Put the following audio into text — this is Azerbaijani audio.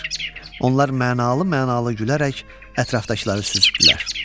Onlar mənalı-mənalı gülərək ətrafdakıları süzdülər.